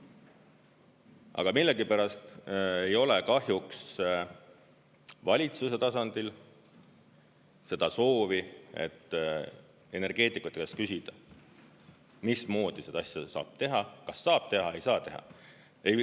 Aga millegipärast ei ole kahjuks valitsuse tasandil seda soovi, et energeetikute käest küsida, mismoodi seda asja saab teha, kas saab teha, ei saa teha.